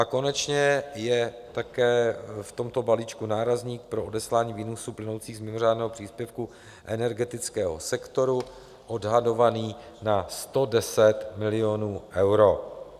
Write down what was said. A konečně je také v tomto balíčku nárazník pro odeslání výnosů plynoucích z mimořádného příspěvku energetického sektoru odhadovaný na 110 milionů eur.